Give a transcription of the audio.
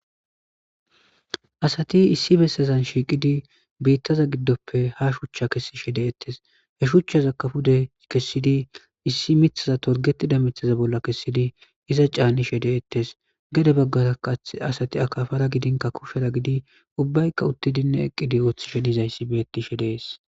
Asati issi bessazan shiiqidi biittaza giddoppe ha shuchcha kessi shede ettes he shuchchaza kafude kessidi issi mithaza torgetida mithaza bolla kessidi iza caa7i shede ettes gede baggaakath asati akafara gidinka kushera gidi ubbaykka uttidinne eqqidi ooththi shenizayssi beettishe dees.